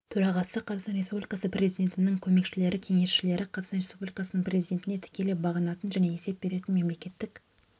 төрағасы қазақстан республикасы президентінің көмекшілері кеңесшілері қазақстан республикасының президентіне тікелей бағынатын және есеп беретін мемлекеттік